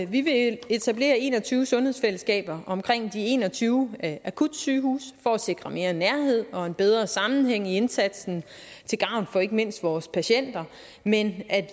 vi vil etablere en og tyve sundhedsfællesskaber omkring de en og tyve akutsygehuse for at sikre mere nærhed og en bedre sammenhæng i indsatsen til gavn for ikke mindst vores patienter men